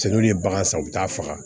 Cɛ n'u ye bagan san u bi taa faga